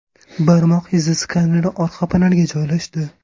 Barmoq izi skaneri orqa panelga joylashdi.